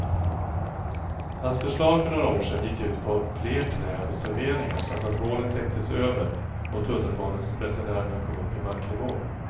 Hans förslag för några år sedan gick ut på fler träd och serveringar samt att hålet täcktes över och tunnelbaneresenärerna kom upp i marknivå.